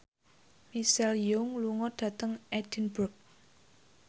Michelle Yeoh lunga dhateng Edinburgh